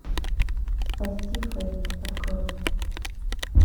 спасти фейт открой